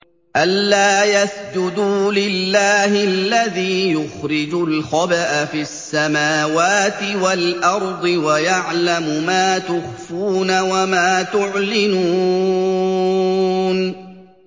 أَلَّا يَسْجُدُوا لِلَّهِ الَّذِي يُخْرِجُ الْخَبْءَ فِي السَّمَاوَاتِ وَالْأَرْضِ وَيَعْلَمُ مَا تُخْفُونَ وَمَا تُعْلِنُونَ